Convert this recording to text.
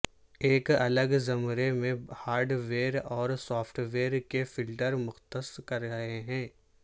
ایک الگ زمرے میں ہارڈ ویئر اور سافٹ ویئر کے فلٹر مختص کر رہے ہیں